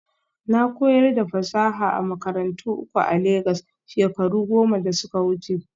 Na koyar da fasaha a makarantu uku a Legas shekaru goma da suka wuce